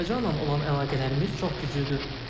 Azərbaycanla olan əlaqələrimiz çox güclüdür.